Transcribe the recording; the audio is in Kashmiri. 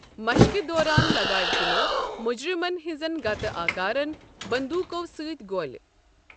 مشقہِ دوران لگاوِ تمو مٗجرِمن ہنٛزن گتہٕ آكارن بندوٗقو سٕتۍ گولہِ ۔